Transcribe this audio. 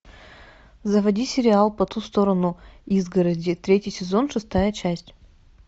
заводи сериал по ту сторону изгороди третий сезон шестая часть